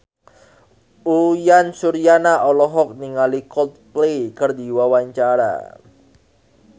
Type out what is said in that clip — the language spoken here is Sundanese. Uyan Suryana olohok ningali Coldplay keur diwawancara